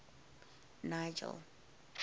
nigel